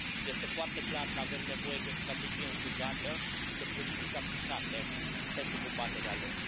Este foarte clar că avem nevoie de o strategie închegată și de politici aplicate pentru combaterea lor.